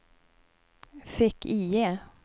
fick-IE